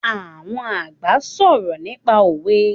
Àwọn àgbà ń sọ̀rọ̀ nípa òwe